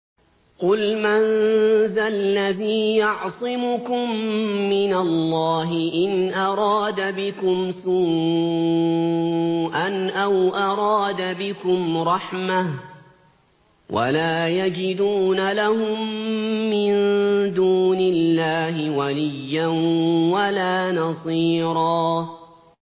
قُلْ مَن ذَا الَّذِي يَعْصِمُكُم مِّنَ اللَّهِ إِنْ أَرَادَ بِكُمْ سُوءًا أَوْ أَرَادَ بِكُمْ رَحْمَةً ۚ وَلَا يَجِدُونَ لَهُم مِّن دُونِ اللَّهِ وَلِيًّا وَلَا نَصِيرًا